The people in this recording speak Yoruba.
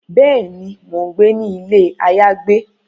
Béèni, Mo n gbé ní ilé ayagbe